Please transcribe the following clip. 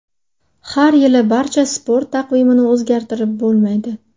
Har yili barcha sport taqvimini o‘zgartirib bo‘lmaydi.